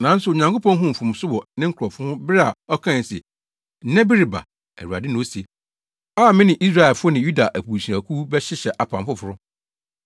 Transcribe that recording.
Nanso Onyankopɔn huu mfomso wɔ ne nkurɔfo ho bere a ɔkae se, “Nna bi reba, Awurade na ose, a me ne Israelfo ne Yuda abusuakuw bɛhyehyɛ apam foforo.